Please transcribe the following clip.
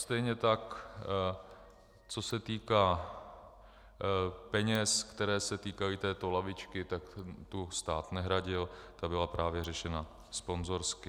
Stejně tak co se týká peněz, které se týkají této lavičky, tak tu stát nehradil, ta byla právě řešena sponzorsky.